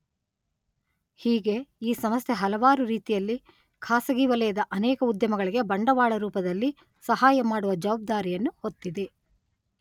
ಹೀಗೆ ಈ ಸಂಸ್ಥೆ ಹಲವಾರು ರೀತಿಯಲ್ಲಿ ಖಾಸಗಿ ವಲಯದ ಅನೇಕ ಉದ್ಯಮಗಳಿಗೆ ಬಂಡವಾಳರೂಪದಲ್ಲಿ ಸಹಾಯಮಾಡುವ ಜವಾಬ್ದಾರಿಯನ್ನು ಹೊತ್ತಿದೆ.